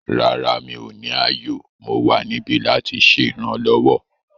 Rárá, mi ò ní ààyò; Mo wa nibi lati ṣe iranlọwọ